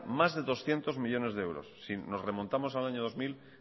más de doscientos millónes de euros si nos remontamos al año dos mil